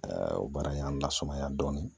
o baara in y'an lasumaya dɔɔnin